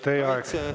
Teie aeg!